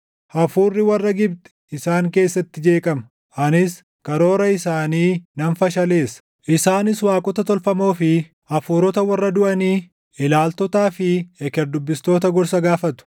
Hafuurri warra Gibxi isaan keessatti jeeqama; anis karoora isaanii nan fashaleessa; isaanis waaqota tolfamoo fi hafuurota warra duʼanii, ilaaltotaa fi eker dubbistoota gorsa gaafatu.